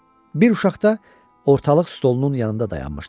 Bir uşaq da ortalıq stolunun yanında dayanmışdı.